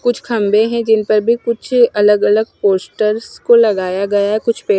कुछ खंभे हैं जिन पर भी कुछ अलग अलग पोस्टर्स को लगाया गया है कुछ पेड़--